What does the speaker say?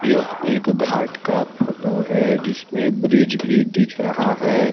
यह एक घाट का फोटो है जिसमें ब्रिज भी दिख रहा है।